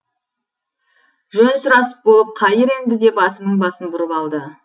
жөн сұрасып болып қайыр енді деп атының басын бұрып алды